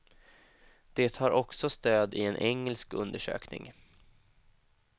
Det har också stöd i en engelsk undersökning.